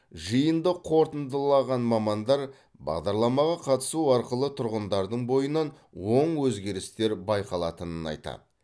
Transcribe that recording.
жиынды қорытындылаған мамандар бағдарламаға қатысу арқылы тұрғындардың бойынан оң өзгерістер байқалатынын айтады